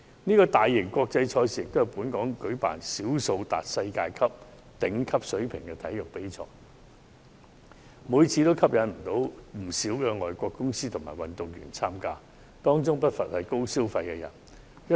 這個大型國際賽事也是本港舉辦少數達世界頂級水平的體育賽事之一，每年吸引不少外國公司和運動員參加，當中不乏高消費人士。